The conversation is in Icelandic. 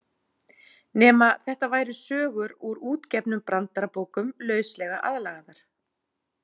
Nema þetta væru sögur úr útgefnum brandarabókum lauslega aðlagaðar.